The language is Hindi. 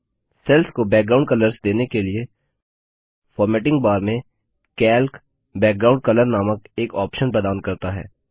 सेल्स को बैकग्राउंड कलर्स देने के लिए फॉर्मेटिंग बार में कैल्क बैकग्राउंड कलर नामक एक ऑप्शन प्रदान करता है